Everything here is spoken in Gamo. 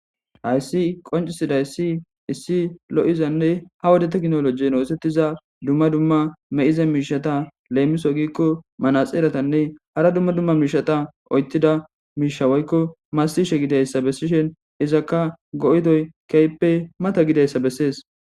hayssi qoncisidayssi issi lo7izanne ha wode tekinolojen oosettiza dumma dumma me7ize miishata leemiso giikko manaxeeratanne hara dumma dumma miishata oyttida miisha woykko masishe gidayssa bessishen izakka go7idoy keyppe mata gidayssa bessees